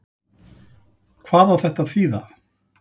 Hvað á þetta að þýða?